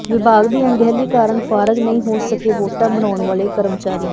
ਵਿਭਾਗ ਦੀ ਅਣਗਹਿਲੀ ਕਾਰਨ ਫ਼ਾਰਗ ਨਹੀਂ ਹੋ ਸਕੇ ਵੋਟਾਂ ਬਣਾਉਣ ਵਾਲੇ ਕਰਮਚਾਰੀ